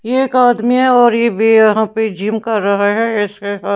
ये एक आदमी है और ये भी यहां पे जिम कर रहा है इसके--